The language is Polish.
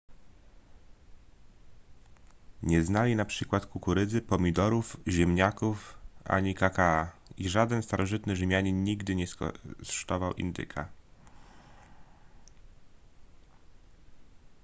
nie znali na przykład kukurydzy pomidorów ziemniaków ani kakaa i żaden starożytny rzymianin nigdy nie skosztował indyka